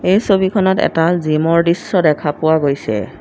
এই ছবিখনত এটা জিমৰ দৃশ্য দেখা পোৱা গৈছে।